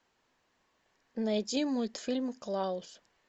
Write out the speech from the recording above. найди мультфильм клаус